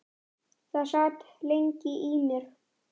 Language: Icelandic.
Það sat lengi í mér.